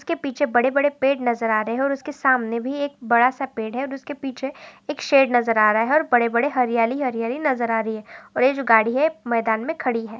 इसके पीछे बड़े-बड़े पेड़ नज़र आ रहे है और सामने भी एक बड़ा सा पेड़ है उसके पीछे एक शेड नज़र आ रहा है और बड़े-बड़े हरियाली-हरियाली नज़र आ रही है और ये जो गाड़ी है मैदान मे खड़ी है।